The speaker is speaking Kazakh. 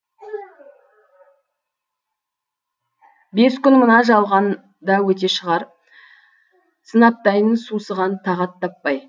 бес күн мына жалған да өте шығар сынаптайын сусыған тағат таппай